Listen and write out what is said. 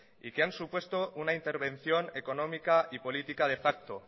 y que han supuesto una intervención económica y política de facto